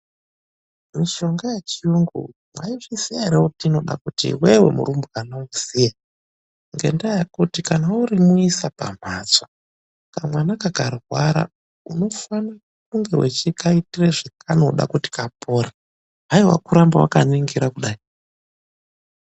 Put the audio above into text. Mishonga yechiyungu mwaizviziya ere kuti inode kuti iwewe murumbwana uziye ngendaa yekuti kana urimuisa pamhatso, kamwana kakarwara, unofane kunge wechikaitire zvekanoda kuti kapore, hayiwa kuramba wakaningira kudai.